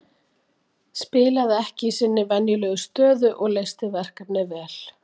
Spilaði ekki í sinni venjulegu stöðu og leysti verkefnið vel.